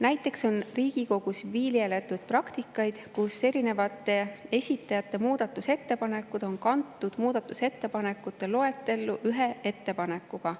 Näiteks on Riigikogus viljeletud praktikat, et erinevate esitajate muudatusettepanekud on kantud muudatusettepanekute loetellu ühe ettepanekuna.